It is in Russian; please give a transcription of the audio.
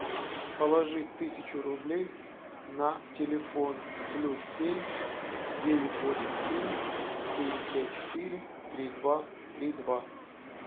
положи тысячу рублей на телефон плюс семь девять восемь семь девять пять четыре три два три два